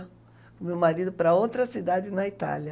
Com meu marido para outra cidade na Itália.